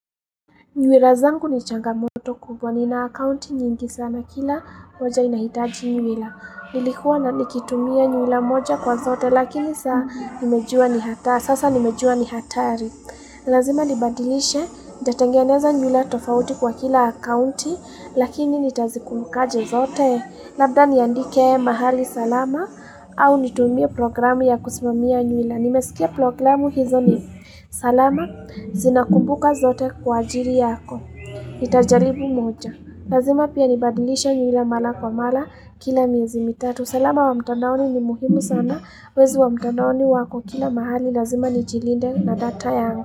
Nywila zangu ni changamoto kubwa, ni na akaunti nyingi sana kila moja inahitaji nywila. Nilikua nikitumia nywila moja kwa zote, lakini sasa nimejua ni hatari. Lazima nibadilishe, nitatangeneza nywila tofauti kwa kila akaunti, lakini nitazikumbukaje zote. Labda niandike mahali salama au nitumie programu ya kusimamia nywila. Nimesikia programu hizo ni salama, zinakumbuka zote kwa ajili yako, nitajaribu moja. Lazima pia nibadilisha nywila mara kwa mara kila miezi mitatu. Salama wa mtandaoni ni muhimu sana, wezi wa mtandaoni wako kila mahali, lazima ni jilinde na data yangu.